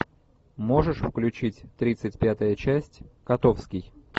можешь включить тридцать пятая часть котовский